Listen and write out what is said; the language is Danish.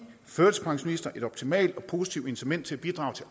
førtidspensionister et optimalt og positivt incitament til at bidrage til